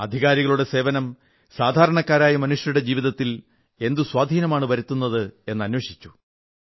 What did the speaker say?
അധികാരികളുടെ സേവനം സാധാരണക്കാരായ മനുഷ്യരുടെ ജീവിതത്തിൽ എന്തു സ്വാധീനമാണ് വരുത്തുന്നത് എന്നന്വേഷിച്ചു